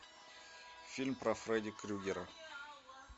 фильм про фредди крюгера